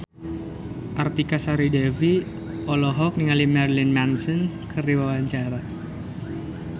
Artika Sari Devi olohok ningali Marilyn Manson keur diwawancara